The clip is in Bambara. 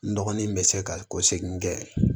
N dɔgɔnin bɛ se ka ko segin kɛ